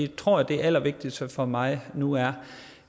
tror at det allervigtigste for mig nu er